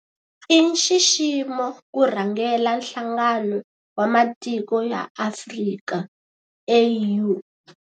I nxiximo ku rhangela Nhlangano wa Matiko ya Afrika, AU.